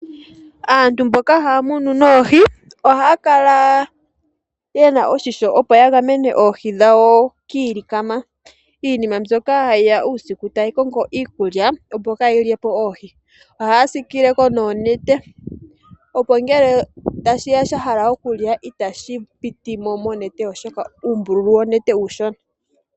Aantu mboka ha ya munu noohi, ohaya kala ye na oshisho, opo ya gamene oohi dhawo kiilikama mbyoka hayi ya uusiku tayi kongo okulya opo ka yi lye po oohi. Oha ya siikile ko noonete opo ngele tashi ya sha hala okulya, ita shi piti mo monete, oshoka uumbululu wonete uushona.